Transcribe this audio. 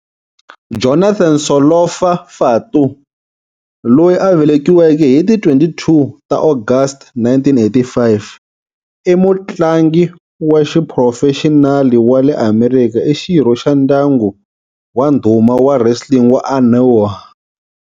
Jonathan Solofa Fatu, loyi a velekiweke hi ti 22 ta August 1985, i mutlangi wa xiphurofexinali wa le Amerika. I xirho xa ndyangu wa ndhuma wa wrestling wa Anoa'i.